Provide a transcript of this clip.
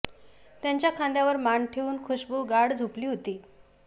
त्याच्या खांद्यावर मान ठेवून खुशबू गाढ झोपली होती